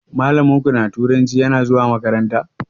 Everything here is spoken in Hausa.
Malamin ku na turanci yana zuwa makaranta?